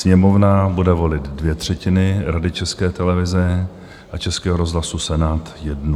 Sněmovna bude volit dvě třetiny Rady České televize a Českého rozhlasu, Senát jednu.